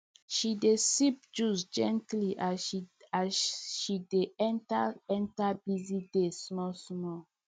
she dey sip juice gently as she dey enter enter busy day small small